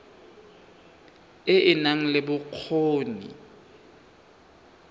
e e nang le bokgoni